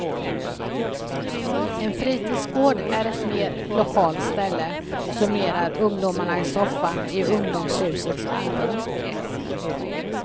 En fritidsgård är ett mer lokalt ställe, summerar ungdomarna i soffan i ungdomshusets allrum.